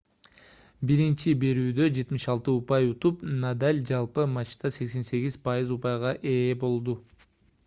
биринчи берүүдө 76 упай утуп надаль жалпы матчта 88% упайга ээ болду